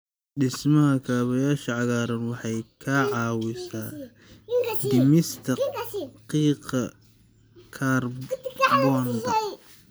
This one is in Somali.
Dhismaha kaabayaasha cagaaran waxay ka caawisaa dhimista qiiqa kaarboon-da.